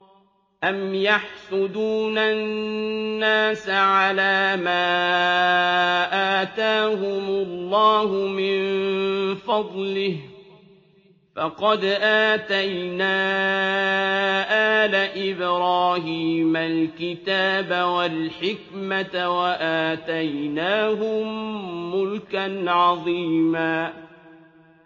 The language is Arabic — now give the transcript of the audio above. أَمْ يَحْسُدُونَ النَّاسَ عَلَىٰ مَا آتَاهُمُ اللَّهُ مِن فَضْلِهِ ۖ فَقَدْ آتَيْنَا آلَ إِبْرَاهِيمَ الْكِتَابَ وَالْحِكْمَةَ وَآتَيْنَاهُم مُّلْكًا عَظِيمًا